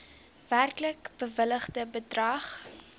werklik bewilligde bedrag